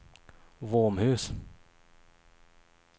Våmhus